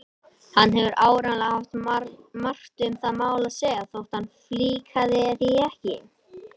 Hann hefur áreiðanlega haft margt um það mál að segja þótt hann flíkaði því ekki.